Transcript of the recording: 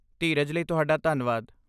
ਧੀਰਜ ਲਈ ਤੁਹਾਡਾ ਧੰਨਵਾਦ।